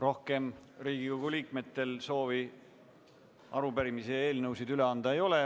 Rohkem Riigikogu liikmetel soovi arupärimisi ja eelnõusid üle anda ei ole.